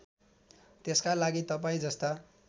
त्यसका लागि तपाईँजस्ता